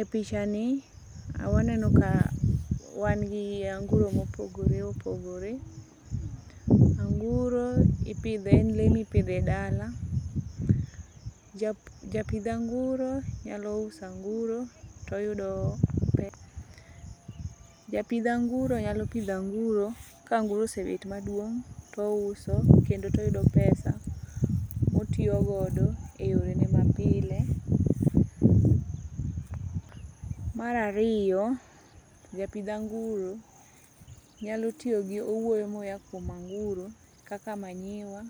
E pichani waneno ka wan gi anguro mopogore opogore, anguro en le mipidhe dala. Japidh anguro nyalo usanguro toyudo, japidh anguro nyalo pidhanguro, kanguro osebet maduong' touso kendo toyudo pesa motiyogodo e yorene mapile. Marariyo, japidh anguro nyalo tiyo gi owuoyo moya kuom anguro kaka manyiwa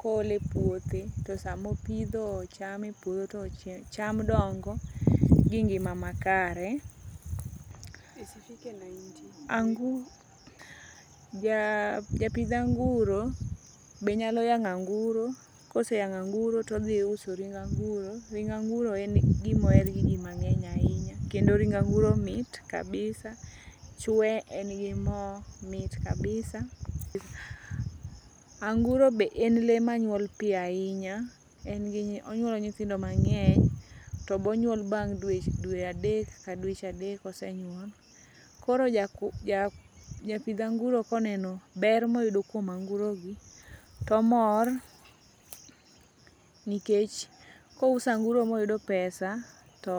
koole puothe. To samopidho cham e puodho to cham dongo gi ngima ma kare. Japidh anguro be nyalo yang'anguro koseyang'anguro todhi uso ring anguro. Ring anguro en gimoher gi ji mang'eny ahinya kendo ring anguro mit kabisa, chwe en gi mo. Anguro be en le manyuol piyo ahinya, onyuolo nyithindo mang'eny to bonyuol bang' dwe adek ka dweche adek osenyuol. Koro japidh anguro koneno ber moyudo kuom angurogi tomor nikech kousanguro moyudo pesa, to.